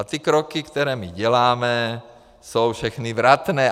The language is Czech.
A ty kroky, které my děláme, jsou všechny vratné.